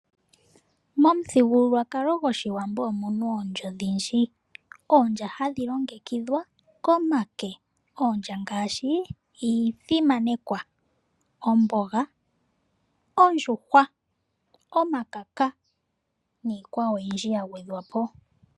Momuthigululwakalo gwOshiwambo omuna oondja odhindji. Oondja hadhi longekidhwa komake. Oondja ngaashi iithima, omboga , ondjuhwa, omakaka, niikwawo oyindji ya gwedhwapo.